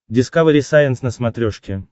дискавери сайенс на смотрешке